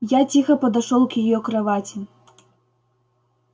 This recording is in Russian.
я тихо подошёл к её кровати